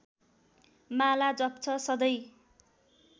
माला जप्छ सधैँ